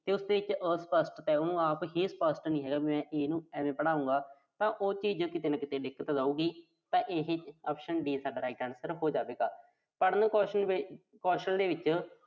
ਤੇ ਉਸਦੇ ਵਿੱਚ ਅਸਪੱਸ਼ਟਤਾ। ਉਹਨੂੰ ਆਪ ਹੀ ਸਪੱਸ਼ਟ ਨੀਂ ਹੈਗਾ, ਵੀ ਮੈਂ ਇਹਨੂੰ ਐਵੇਂ ਪੜ੍ਹਾਊਂਗਾ, ਤਾਂ ਉਹ ਚੀਜ਼ ਕਿਤੇ ਨਾ ਕਿਤੇ ਦਿੱਕਤ ਲਾਊਗੀ ਤਾਂ ਇਹੇ potion D ਸਾਡਾ right answer ਹੋ ਜਾਵੇਗਾ।